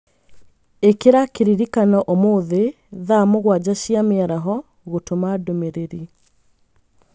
ĩkira kĩririkano ũmũthĩ thaa mũgwanja cia mĩaraho gũtũma ndũmĩrĩri